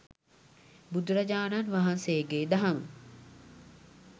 බුදුරජාණන් වහන්සේගේ දහම,